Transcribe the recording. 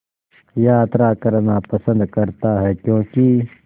यात्रा करना पसंद करता है क्यों कि